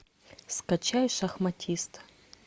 скачай шахматист